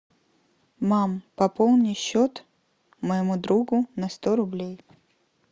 мам пополни счет моему другу на сто рублей